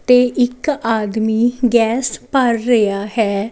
ਤੇ ਇੱਕ ਆਦਮੀ ਗੈਸ ਭਰ ਰਿਹਾ ਹੈ।